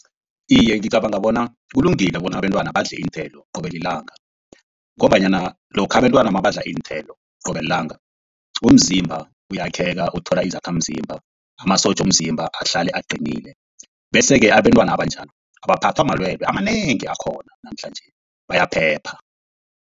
Iye, ngicabanga bona kulungile bona abentwana badle iinthelo qobe lilanga, ngombanyana lokha abentwana nabadla iinthelo qobe lilanga umzimba uyakheka, uthola izakhamzimba, amasotja womzimba ahlale aqinile. Bese-ke abentwana abanjalo abaphathwa malwelwe amanengi akhona namhlanje bayaphepha.